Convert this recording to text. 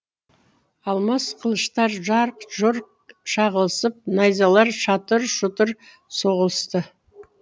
алмас қылыштар жарқ жұрқ шағылысып найзалар шатыр шұтыр соғылысты